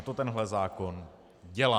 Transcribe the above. A to tenhle zákon dělá.